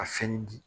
A fɛnnin di